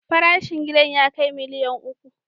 Farashin gidan ya kai miliyan uku.